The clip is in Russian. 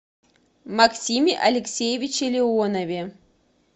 максиме алексеевиче леонове